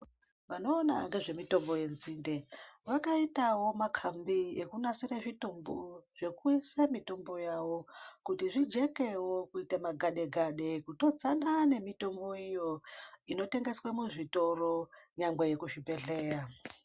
Vanoona ngezvemitombo yenzinde vakaitawo makambi ekunasira zvitumbu zvekuisa mitombo yavo kuti zvijekewo kuita magadegade kutodzona nemitombo iyo inotengeswa muzvitoro nyangwe yekuzvibhehleya.